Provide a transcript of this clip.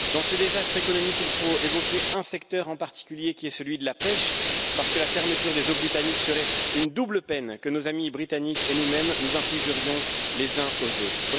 Dans ce désastre économique, il faut évoquer un secteur en particulier, celui de la pêche, parce que la fermeture des eaux britanniques serait une double peine que nos amis britanniques et nous mêmes nous infligerions les uns aux autres.